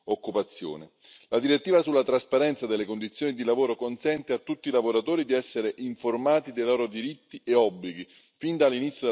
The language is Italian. La direttiva sulla trasparenza delle condizioni di lavoro consente a tutti i lavoratori di essere informati dei loro diritti e obblighi fin dall'inizio del rapporto lavorativo.